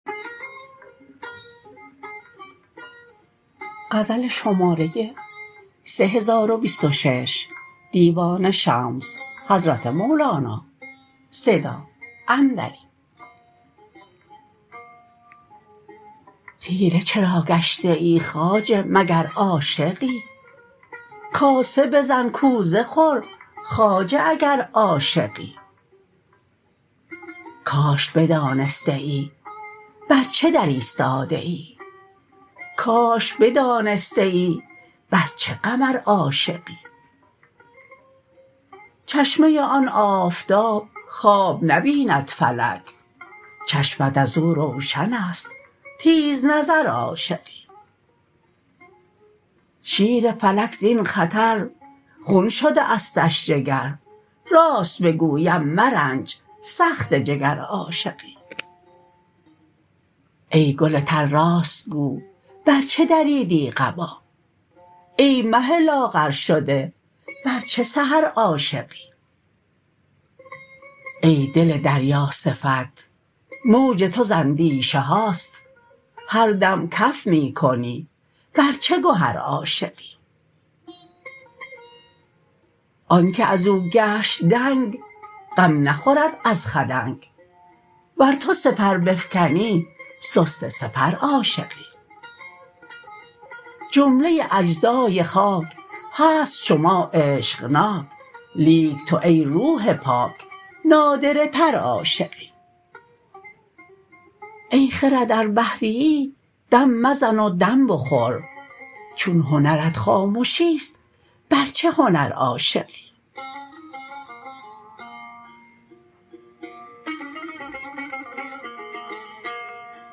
خیره چرا گشته ای خواجه مگر عاشقی کاسه بزن کوزه خور خواجه اگر عاشقی کاش بدانستیی بر چه در استاده ای کاش بدانستیی بر چه قمر عاشقی چشمه آن آفتاب خواب نبیند فلک چشمت از او روشنست تیزنظر عاشقی شیر فلک زین خطر خون شده استش جگر راست بگویم مرنج سخته جگر عاشقی ای گل تر راست گو بر چه دریدی قبا ای مه لاغرشده بر چه سحر عاشقی ای دل دریاصفت موج تو ز اندیشه هاست هر دم کف می کنی بر چه گهر عاشقی آنک از او گشت دنگ غم نخورد از خدنگ ور تو سپر بفکنی سسته سپر عاشقی جمله اجزای خاک هست چو ما عشقناک لیک تو ای روح پاک نادره تر عاشقی ای خرد ار بحریی دم مزن و دم بخور چون هنرت خامشیست بر چه هنر عاشقی